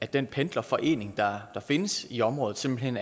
den pendlerforening der findes i området simpelt hen